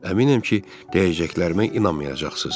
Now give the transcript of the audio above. Əminəm ki, deyəcəklərimə inanmayacaqsınız.